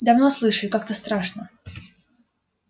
давно слышу и как-то страшно